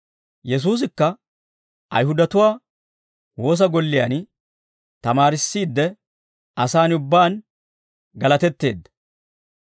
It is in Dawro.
Yesuusikka Ayihudatuwaa Woosa Golliyaan tamaarissiide asaan ubbaan galatetteedda.